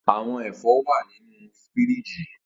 Awọn ẹfọ wa ninu firiji.